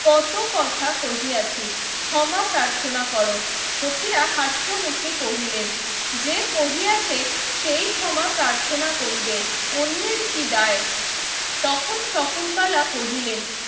কত কথা কহিয়াছি ক্ষমা প্রার্থনা করো সখীরা হাস্য মুখে কহিলেন যে কহিয়াছে সেই ক্ষমা প্রার্থনা করিবে অন্যের কি দায় তখন শকুন্তলা কহিলেন